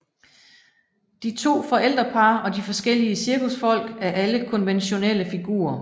De to forældrepar og de forskellige cirkusfolk er alle konventionelle figurer